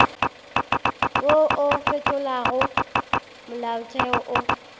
wo o fetolago molaotheo o